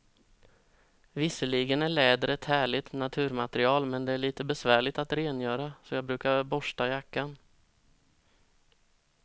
Visserligen är läder ett härligt naturmaterial, men det är lite besvärligt att rengöra, så jag brukar borsta jackan.